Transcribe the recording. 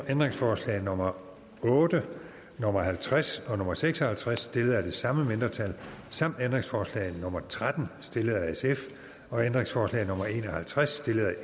ændringsforslag nummer otte nummer halvtreds og nummer seks og halvtreds stillet af det samme mindretal samt ændringsforslag nummer tretten stillet af sf og ændringsforslag nummer en og halvtreds stillet af